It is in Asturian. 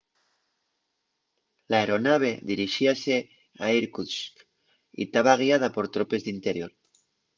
l'aeronave dirixíase a irkutsk y taba guiada por tropes d'interior